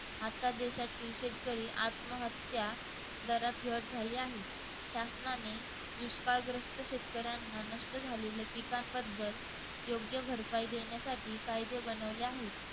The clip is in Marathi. आजच्या देशातील शेतकरी आत्महत्या दरात घट झाली आहे. शासनाने दुष्काळग्रस्त शेतकऱ्यांना नष्ट झालेल्या पिकांबद्दल योग्य भरपाई देण्यासाठी कायदे बनवले आहेत.